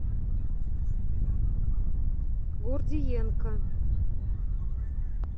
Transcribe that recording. гордиенко